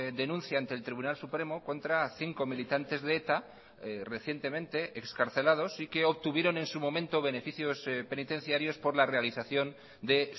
denuncia ante el tribunal supremo contra cinco militantes de eta recientemente excarcelados y que obtuvieron en su momento beneficios penitenciarios por la realización de